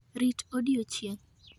Rit odiechieng'